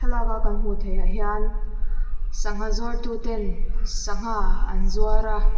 thlalak a kan hmuh theih ah hian sangha zuar tu ten sangha an zuar a.